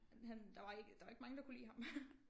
Han han der var ikke der var ikke mange der kunne lide ham